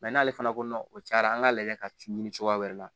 n'ale fana ko o cayara an k'ale ka ci ɲini cogoya wɛrɛ la